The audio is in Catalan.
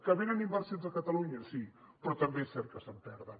que venen inversions a catalunya sí però també és cert que se’n perden